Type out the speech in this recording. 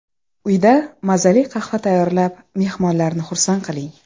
Uyda mazali qahva tayyorlab, mehmonlarni xursand qiling.